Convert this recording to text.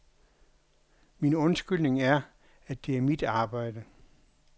Min undskyldning er, at det er mit arbejde.